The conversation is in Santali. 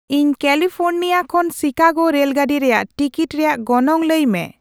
ᱤᱧ ᱠᱮᱞᱤᱯᱷᱳᱱᱤᱨᱟᱭ ᱠᱷᱚᱱ ᱥᱤᱠᱟᱜᱳ ᱨᱮᱹᱞ ᱜᱟᱺᱰᱤ ᱨᱮᱭᱟᱜ ᱴᱤᱠᱤᱴ ᱨᱮᱭᱟᱜ ᱜᱚᱱᱚᱝ ᱞᱟᱹᱭ ᱢᱮ